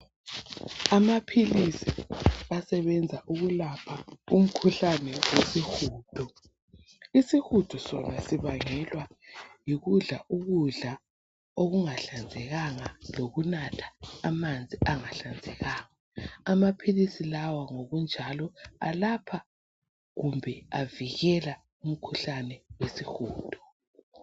Amaphilisi asebenza ukwelapha isihudo isihudo sona sibangelwa yikudla ukudla okungahlanzekanga lo kunatha amanzi angahlanzekanga amaphilisi lawa ngokunjalo ayelapha kumbe avikela umkhuhlane wesihudo